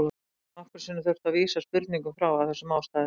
Við höfum nokkrum sinnum þurft að vísa spurningum frá af þessum ástæðum.